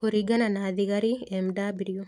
Kũringana na thigari, Mw.